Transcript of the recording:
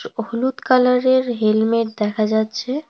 হলুদ কালারের হেলমেট দেখা যাচ্ছে।